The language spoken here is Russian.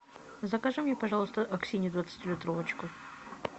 закажи мне пожалуйста аксинью двадцатилитровочку